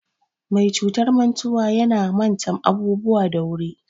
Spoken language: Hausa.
Mai cutar mantuwa yana mata abubuwa da wuri.